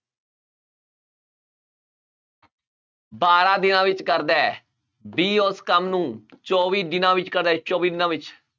ਬਾਰਾਂ ਦਿਨਾਂ ਵਿੱਚ ਕਰਦਾ ਹੈ b ਉਸ ਕੰਮ ਨੂੰ ਚੌਵੀ ਦਿਨਾਂ ਵਿੱਚ ਕਰਦਾ ਹੈ ਚੌਵੀ ਦਿਨਾਂ ਵਿੱਚ।